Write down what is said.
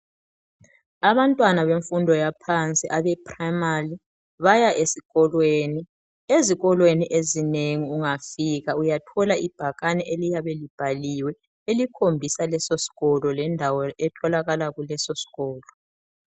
Abantwana bemfundo yaphansi baya esikolweni. Ezikolweni ezinengi ungafika uyathola ibhakane eliyabe libhaliwe elikhombisa leso sikolo lendawo etholakala kuso.